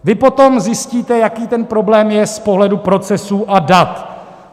Vy potom zjistíte, jaký ten problém je z pohledu procesů a dat.